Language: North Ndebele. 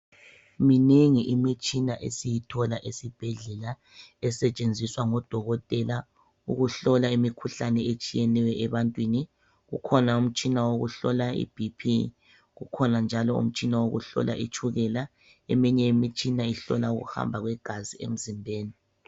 Minengi imitshina esiyithola esibhedlela esetshenziswa ngodokotela ukuhlola imikhuhlane etshiyeneyo ebantwini. Ukhona umtshina wokuhlola iBP kukhona njalo umtshina wokuhlola itshukela eminye imitshina ohlola ukuhamba kwegazi emzimbeni.